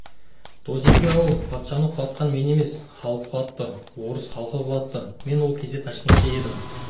досеке-ау патшаны құлатқан мен емес халық құлатты орыс халқы құлатты мен ол кезде ташкентте едім мың